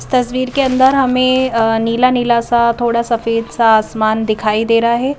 इस तस्वीर के अंदर हमें नीला नीला सा थोड़ा सफेद सा आसमान दिखाई दे रहा है ।